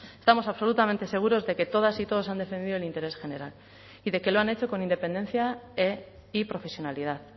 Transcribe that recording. estamos absolutamente seguros de que todas y todos han defendido el interés general y de que lo han hecho con independencia y profesionalidad